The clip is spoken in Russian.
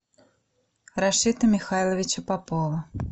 рашита михайловича попова